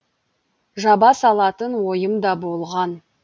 жаба салатын ойым да болған